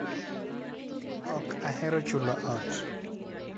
Ok ahero chulo ot.